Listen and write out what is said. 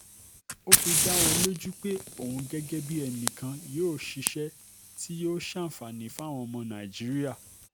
ó fi dá wọn lójú pé òun gẹ́gẹ́ bíi ẹnì kan yóò ṣiṣẹ́ tí yóò ṣàǹfààní fáwọn ọmọ nàìjíríà